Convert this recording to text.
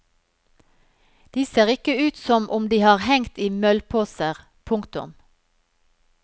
De ser ikke ut som om de har hengt i møllposer. punktum